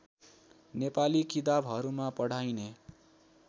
नेपाली किताबहरूमा पढाइने